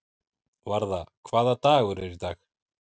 Varða, hvaða dagur er í dag?